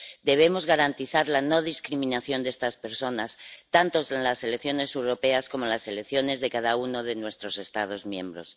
Debemos garantizar la no discriminación de estas personas, tanto en las elecciones europeas como en las elecciones de cada uno de nuestros Estados miembros.